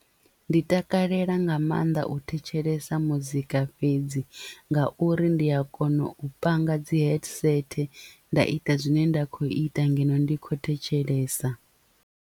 Ndi takalela nga maanḓa u thetshelesa muzika fhedzi nga uri ndi a kona u panga dzi headset nda ita zwine nda kho ita ngeno ndi khou thetshelesa.